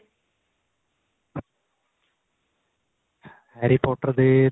harry potter ਦੇ